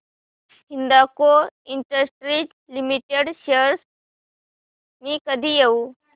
Hindalco industries limited shares मी कधी घेऊ